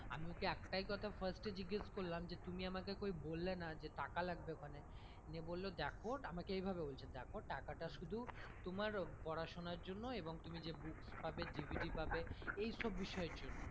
আমি ওকে একটাই কথা first এ জিজ্ঞেস করলাম যে তুমি আমাকে কই বললে না যে টাকা লাগবে ওখানে নিয়ে বললো দেখো আমাকে এইভাবে বলছে দেখো টাকা টা শুধু তোমার পড়াশোনার জন্য এবং তুমি যে books পাবে DVD পাবে এইসব বিষয়ের জন্য।